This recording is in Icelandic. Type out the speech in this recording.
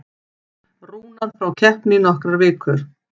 Rúnar frá keppni í nokkrar vikur